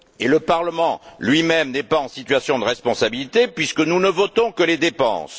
Le Parlement lui même n'est pas en situation de responsabilité, puisque nous ne votons que les dépenses.